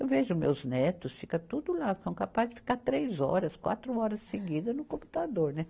Eu vejo meus netos, fica tudo lá, são capazes de ficar três horas, quatro horas seguidas no computador, né?